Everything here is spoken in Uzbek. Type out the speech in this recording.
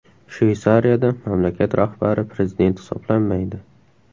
Shveysariyada mamlakat rahbari prezident hisoblanmaydi.